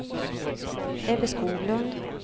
Ebbe Skoglund